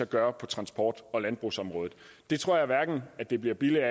gøre på transport og landbrugsområdet tror jeg hverken det bliver billigere